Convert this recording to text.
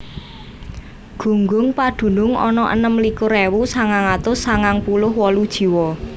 Gunggung padunung ana enem likur ewu sangang atus sangang puluh wolu jiwa